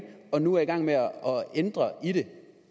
og nu er i gang med at ændre i det